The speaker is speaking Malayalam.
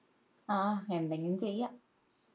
അഹ് എന്തെങ്കിലും ചെയ്യാ